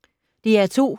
DR2